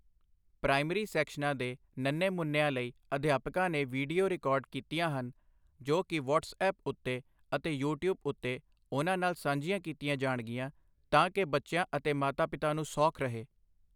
Primary ਸੈਕਸ਼ਨਾਂ ਦੇ ਨੰਨੇ ਮੁੰਨਿਆਂ ਲਈ ਅਧਿਆਪਕਾਂ ਨੇ ਵੀਡੀਓ ਰਿਕਾਰਡ ਕੀਤਆਂ ਹਨ, ਜੋ ਕਿ ਵਟਸ ਐਪ ਉੱਤੇ ਅਤੇ ਯੂ ਟਿਊਬ ਉੱਤੇ ਉਨ੍ਹਾਂ ਨਾਲ ਸਾਂਝੀਆਂ ਕੀਤੀਆਂ ਜਾਣਗੀਆਂ, ਤਾਂ ਕਿ ਬੱਚਿਆਂ ਅਤੇ ਮਾਤਾ ਪਿਤਾ ਨੂੰ ਸੌਖ ਰਹੇ।